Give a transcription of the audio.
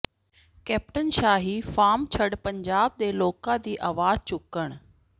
captain ਸ਼ਾਹੀ farm ਛੱਡ ਪੰਜਾਬ ਦੇ ਲੋਕਾਂ ਦੀ ਆਵਾਜ਼ ਚੁੱਕਣ